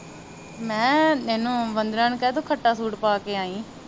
ਮੈ ਕਿਹਾ ਇਹਨੂੰ ਵੰਧਨਾ ਨੂੰ ਕਹਿ ਤੂੰ ਖੱਟਾ ਸੂਟ ਪਾ ਕੇ ਆਈ